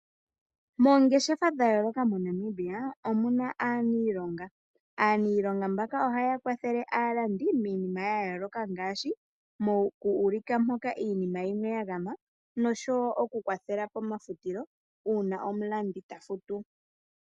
Moongeshefa dhayooloka moNamibia omuna aaniilonga, aaniilonga mbaka ohaya kwathele aalandi miinima yayooloka ngaashi, moku uulika mpoka iinima yimwe yagama nosho wo okukwathela pomafutilo uuna omulandi tafutu.